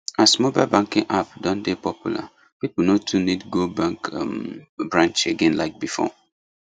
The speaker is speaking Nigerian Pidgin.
as mobile banking app don dey popular people no too need go bank um branch again like before